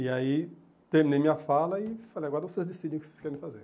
E aí terminei minha fala e falei, agora vocês decidem o que vocês querem fazer.